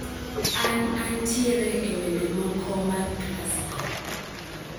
An antiere e wende moko mag classical